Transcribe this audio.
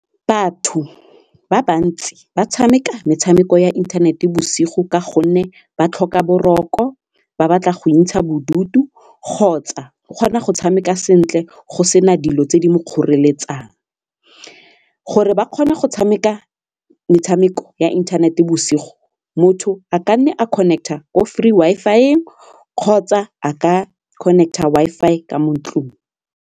Batho ba bantsi ba tshameka metshameko ya inthanete bosigo ka gonne ba tlhoka boroko ba batla go ikentsha bodutu kgotsa o kgona go tshameka sentle go sena dilo tse di mo kgoreletsang. Gore ba kgona go tshameka metshameko ya inthanete bosigo motho a ka nne a connect-a ko free Wi-Fi-eng kgotsa a ka connect-a Wi-Fi ka mo ntlong.